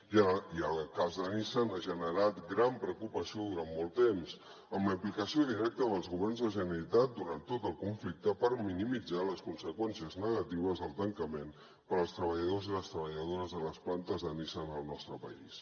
i el cas de nissan ha generat gran preocupació durant molt temps amb la implicació directa dels governs de la generalitat durant tot el conflicte per minimitzar les conseqüències negatives del tancament per als treballadors i les treballadores de les plantes de nissan al nostre país